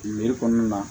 kɔnɔna na